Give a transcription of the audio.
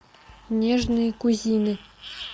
нежные кузины